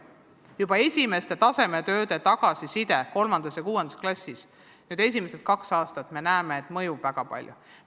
Juba esimesel kahel aastal 3. ja 6. klassis tehtud tasemetööde tagasiside näitab meile, et mõju on suur.